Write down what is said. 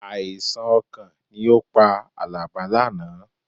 Àìsàn ọkàn ni ó pa Àlàbé lánàá